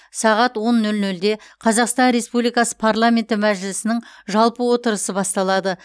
сағат он нөл нөлде қазақстан республикасы парламенті мәжілісінің жалпы отырысы басталады